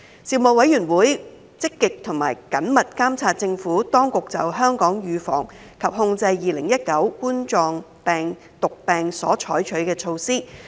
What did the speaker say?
事務委員會積極及緊密監察政府當局就香港預防及控制2019冠狀病毒病所採取的措施。